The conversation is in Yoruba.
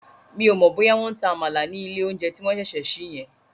Mi ò mọ̀ bóyá wọ́n ń ta Àmàlà ní ilé oúnjẹ tí wọ́n ṣẹ̀ṣẹ̀ sí yẹn